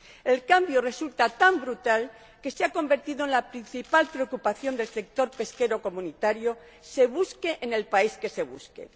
El cambio resulta tan brutal que se ha convertido en la principal preocupación del sector pesquero de la UE, se busque en el país que se busque.